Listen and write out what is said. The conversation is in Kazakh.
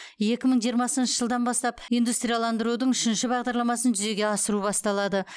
екі мың жиырмасыншы жылдан бастап индустрияландырудың үшінші бағдарламасын жүзеге асыру басталады